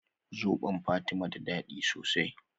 Zobon fatima da dadi sosai